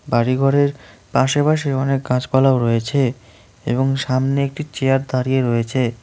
বাড়ি ঘরের পাশেপাশে অনেক গাছপালাও রয়েছে এবং সামনে একটি চেয়ার দাঁড়িয়ে রয়েছে।